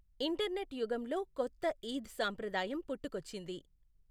Internet యుగంలో కొత్త ఈద్ సంప్రదాయం పుట్టుకొచ్చింది.